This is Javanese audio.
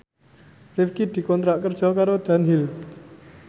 Rifqi dikontrak kerja karo Dunhill